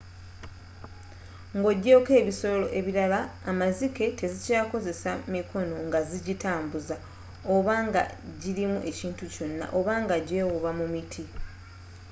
nga ogyeko ebisolo ebirala amazike tezikyakozesa mikono nga zijitambuza oba nga jirimu ekintu kyonna oba nga jewuuba mu miti